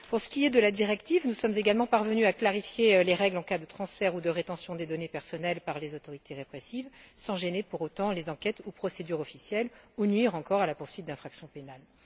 Pour ce qui est de la directive, nous sommes également parvenus à clarifier les règles en cas de transferts ou de rétention des données personnelles par les autorités répressives, sans gêner pour autant les enquêtes ou procédures officielles ou nuire encore à la poursuite d'infractions pénales.